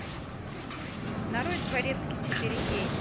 нарой дворецкий четыре кей